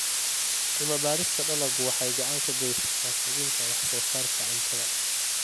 Cilmi-baarista dalaggu waxay gacan ka geysataa kordhinta wax soo saarka cuntada.